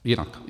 Jinak.